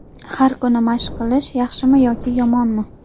Har kuni mashq qilish: yaxshimi yoki yomonmi?.